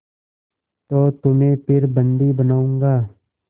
तो तुम्हें फिर बंदी बनाऊँगा